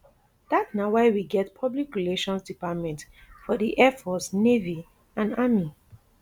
dat na why we get public relations departments for di air force navy and army